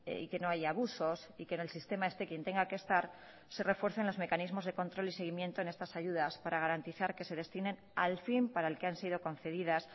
y que no haya abusos y que en el sistema esté quien tenga que estar se refuercen los mecanismos de control y seguimiento en estas ayudas para garantizar que se destinen al fin para el que han sido concedidas